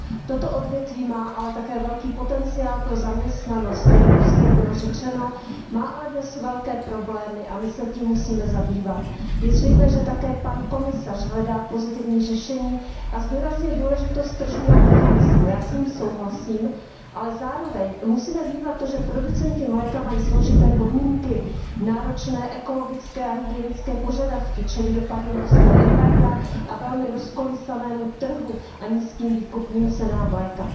Toto odvětví má ale také velký potenciál pro zaměstnanost, jak již zde bylo řečeno. Má ale dnes velké problémy a my se tím musíme zabývat. Je zřejmé, že také pan komisař hledá pozitivní řešení a zdůraznil důležitost tržního mechanismu. Já s ním souhlasím, ale zároveň musíme vnímat to, že producenti mléka mají složité podmínky, náročné ekologické a hygienické požadavky, čelí dopadům ruského embarga, velmi rozkolísanému trhu a nízkým výkupním cenám mléka.